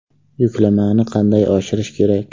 Yuklamani qanday oshirish kerak?